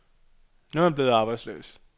Nu er han blevet arbejdsløs.